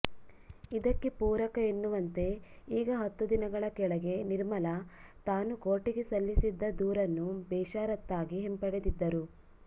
ಇದಕ್ಕೆ ಪೂರಕ ಎನ್ನುವಂತೆ ಈಗ ಹತ್ತು ದಿನಗಳ ಕೆಳಗೆ ನಿರ್ಮಲ ತಾನು ಕೋರ್ಟಿಗೆ ಸಲ್ಲಿಸಿದ್ದ ದೂರನ್ನು ಬೇಷರತ್ತಾಗಿ ಹಿಂಪಡೆದಿದ್ದರು